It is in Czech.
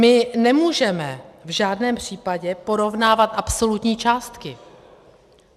My nemůžeme v žádném případě porovnávat absolutní částky.